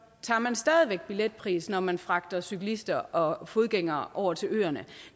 man stadig væk billetpris når man fragter cyklister og fodgængere over til øerne